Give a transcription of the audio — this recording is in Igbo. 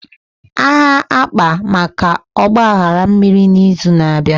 Aha akpa maka Ọgba aghara mmiri na izu na abịa